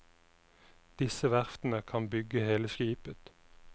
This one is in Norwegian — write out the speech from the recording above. Disse verftene kan bygge hele skipet.